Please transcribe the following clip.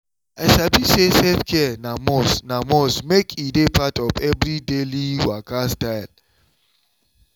i sabi say self-care na must na must make e dey part of everybody daily waka style.